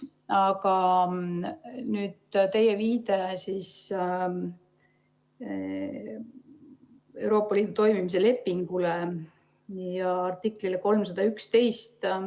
Aga nüüd teie viide Euroopa Liidu toimimise lepingule ja artiklile 311.